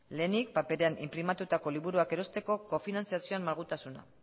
lehenik paperean inprimatutako liburuak erosteko kofinantzazioan malgutasuna